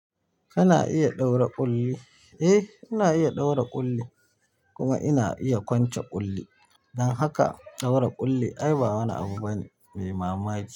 Kana iya ɗaura ƙulli? Eh, ina iya ɗaura ƙulli kuma ina iya kwance ƙulli. Don haka ɗaura ƙulli ai ba wani abu bane mai mamaki.